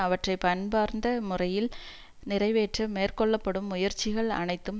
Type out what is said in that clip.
அவற்றை பண்பார்ந்த முறையில் நிறைவேற்ற மேற்கொள்ள படும் முயற்சிகள் அனைத்தும்